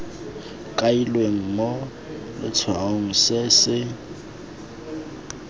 kailweng mo letshwaong se se